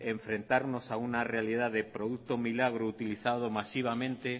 enfrentarnos a una realidad de producto milagro utilizado masivamente